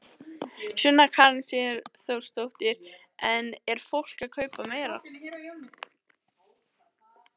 Sunna Karen Sigurþórsdóttir: En er fólk að kaupa meira?